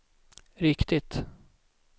riktigt